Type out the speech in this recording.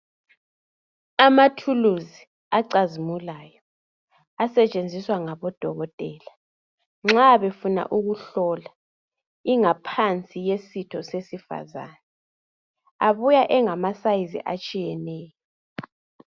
Amathuluzi acazimulayo asetshenziswa ngabodokotela nxa befuna ukuhlola ingaphansi yesitho sesifazane abuya engama sayizi atshiyeneyo